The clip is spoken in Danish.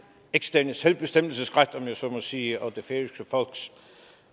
eksterne selvbestemmelsesret om jeg så må sige og det færøske folks